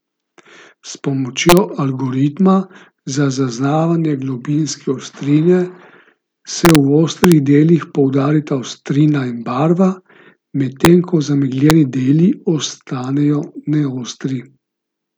S pomočjo algoritma za zaznavanje globinske ostrine se v ostrih delih poudarita ostrina in barva, medtem ko zamegljeni deli ostanejo neostri.